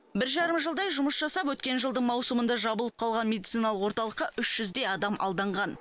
бір жарым жылдай жұмыс жасап өткен жылдың маусымында жабылып қалған медициналық орталыққа үш жүздей адам алданған